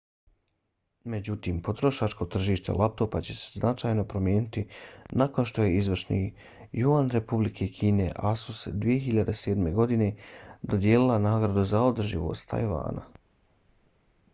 međutim potrošačko tržište laptopa će se značajno promijeniti nakon što je izvršni juan republike kine asus-u 2007. godine dodijelila nagradu za održivost tajvana